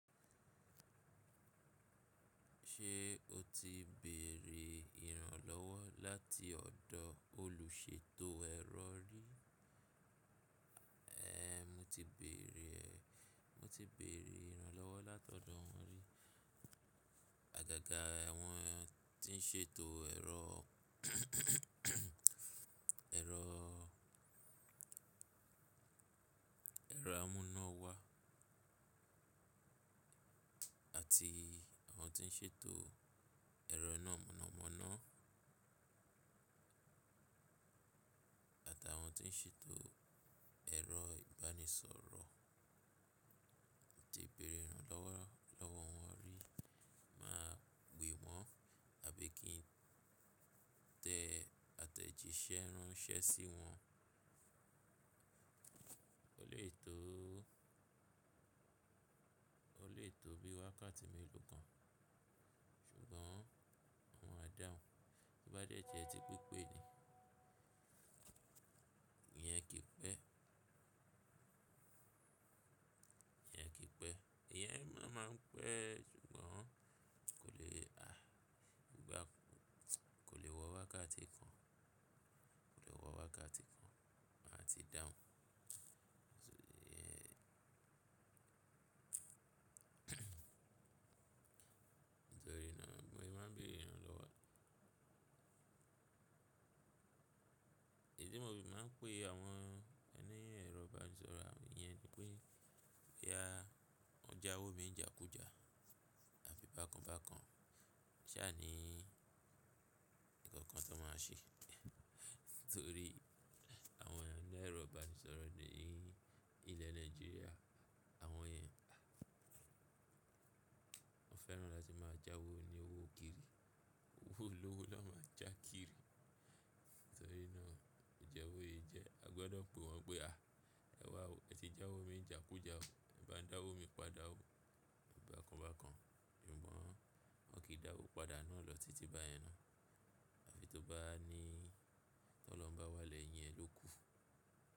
Ṣé o ti béèrè ìrànlọ́wọ́ láti ọ̀dọ̀ olùṣètò ẹ̀rọ rí? Ehn, mo ti béèrè, mo ti béèrè ìrànlọ́wọ́ láti ọ̀dọ̀ wọn rí. Àgàgà àwọn tí ń ṣètò ẹ̀rọ, ẹ̀rọ amúnáwá àti àwọn tí ń ṣètò ẹ̀rọ iná mọ̀nàmọ́ná àtàwọn tí ń ṣètò ẹ̀rọ ìbánisọ̀rọ̀. Mo ti béèrè ìrànlọ́wọ́, lọ́wọ́ wọn rí, máa pè wọ́n àbí kí n tẹ àtẹ̀jíṣẹ́ ránṣẹ́ sí wọn. O le tó, o le tó bí i wákàtí mélòó kan ṣùgbọ́n wọn á dáhùn. To bá dẹ jẹ ti pípé ni, ìyẹn kì í pẹ́. Ìyẹn kì í pẹ́. Ìyẹn máa ń pẹ́ ṣùgbọ́n kò lè, àí, bí bá, kò lè wọ wákàtí kan, kò lè wọ wákàtí kan máa ti dáhùn. Nítorí náà mo má ń béèrè ìrànlọ́wọ́. Ìdí mo fi máa ń pè àwọn ẹni ẹ̀rọ ìbánisọ̀rọ̀ àwọn èyí ni pé, pé a, ọjà owó mi ń jà kú jà àbí bákan bákan. Ṣàní nǹkan kan tó máa ṣi, nítorí àwọn ẹni ẹ̀rọ ìbánisọ̀rọ̀ ní ilẹ̀ Nàìjíríà àwọn yẹn, wọ́n fẹ́ràn láti máa já owó ní owó kiri. Owó olówó na máa já kiri. Nítorí náà ìjẹ́wó yìí jẹ́ a gbọdọ̀ pe wọ́n pé a, ẹ wá o, ẹ ti já owó mi jà kú jà o, ẹ bá dá owó mi padà o bákan bákan. Ṣùgbọ́n wọ́n kì í dá owó padà náà lọ títí báyẹn náà. Àfi tó bá ní ọlọ́hun bá wá lẹ́yìn ẹ ló kù.